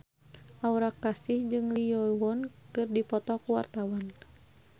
Aura Kasih jeung Lee Yo Won keur dipoto ku wartawan